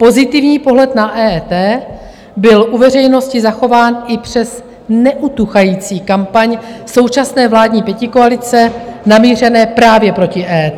Pozitivní pohled na EET byl u veřejnosti zachován i přes neutuchající kampaň současné vládní pětikoalice namířenou právě proti EET.